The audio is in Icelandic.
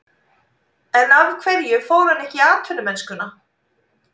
En af hverju fór hann ekki í atvinnumennskuna?